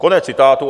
Konec citátu.